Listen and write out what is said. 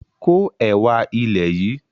Ko ẹwà ilẹ̀ yìí!